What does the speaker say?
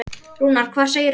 Rúnar, hvað segirðu gott?